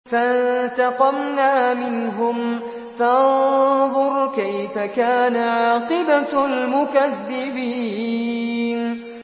فَانتَقَمْنَا مِنْهُمْ ۖ فَانظُرْ كَيْفَ كَانَ عَاقِبَةُ الْمُكَذِّبِينَ